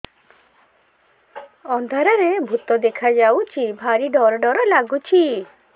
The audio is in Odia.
ଅନ୍ଧାରରେ ଭୂତ ଦେଖା ଯାଉଛି ଭାରି ଡର ଡର ଲଗୁଛି